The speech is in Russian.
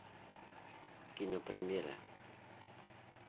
кинопремьера